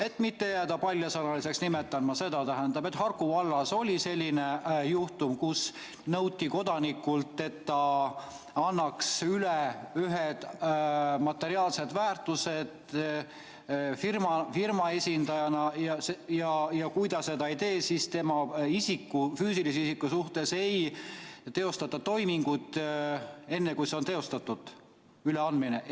Et mitte jääda paljasõnaliseks, nimetan ma seda, et Harku vallas oli selline juhtum, kus nõuti kodanikult, et ta annaks ühed materiaalsed väärtused üle firma esindajana ja kui ta seda ei tee, siis tema kui füüsilise isiku suhtes ei teostata toimingut enne, kui see üleandmine on teostatud.